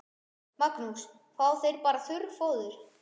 Magnús: Fá þeir bara þurrfóður?